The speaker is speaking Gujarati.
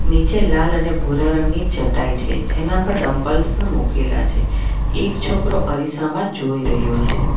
નીચે લાલ અને ભૂરા રંગની ચટાઈ છે જેના પર ડમ્બલ્સ પણ મુકેલા છે એક છોકરો અરીસામાં જોઈ રહ્યો છે.